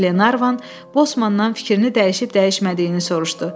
Qlenarvan bossmandan fikrini dəyişib-dəyişmədiyini soruşdu.